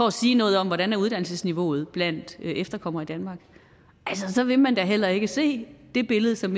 at sige noget om hvordan uddannelsesniveauet er blandt efterkommere i danmark så vil man da heller ikke se det billede som